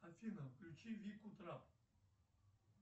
афина включи вику трап